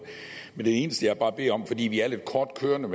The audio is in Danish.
det eneste jeg bare beder om fordi vi er lidt kort kørende